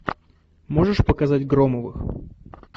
можешь показать громовых